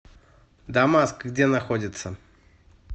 дамаск где находится